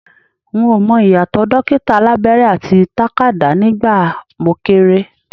N ò mọ ìyàtọ̀ dókítà alábẹ́rẹ́ àti takadá nígbà mo kéré